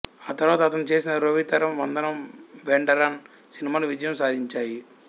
ఆ తరువాత అతను చేసిన రోవితరం వందనం వెండరాన్ సినిమాలు విజయం సాధించాయి